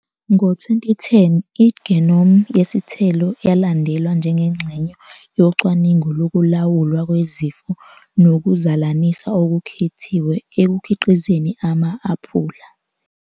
Ngo-2010, i-genome yesithelo yalandelwa njengengxenye yocwaningo lokulawulwa kwezifo nokuzalanisa okukhethiwe ekukhiqizeni ama-aphula.